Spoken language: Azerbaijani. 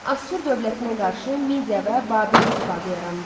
Asur dövlətinə qarşı Midia və Babil ittifaqı yarandı.